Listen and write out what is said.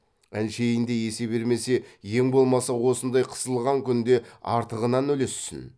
әншейін де есе бермесе ең болмаса осындай қысылған күнде артығынан үлессін